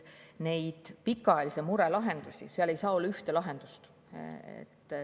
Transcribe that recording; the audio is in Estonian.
Pikaajalisi lahendusi ei saa olla üks.